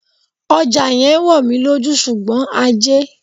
Ọjà yẹn ń wò mí lójú, ṣùgbọ́n ajé.